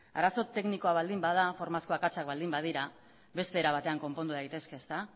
arazo teknikoa baldin bada formazko akatsak baldin badira beste era batean konpondu daitezke ezta